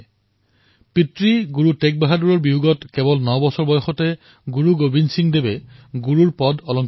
তেওঁৰ পিতৃ শ্ৰী গুৰু টেগবাহাদুৰ শ্বহীদ হোৱাৰ পিছত গুৰু গোৱিন্দ সিংজীয়ে ৯ বছৰতে গুৰুৰ পদ লাভ কৰিছিল